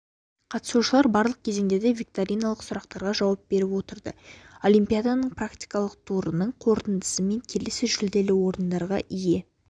қатысушылар барлық кезеңдерде викториналық сұрақтарға жауап беріп отырды олимпиаданың практикалық турының қорытындысымен келесі жүлделі орындарға ие